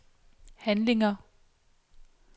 handlinger